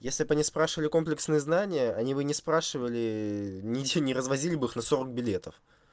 если они спрашивали комплексные знания они бы не спрашивали ничего не развозили бы их на сорок билетов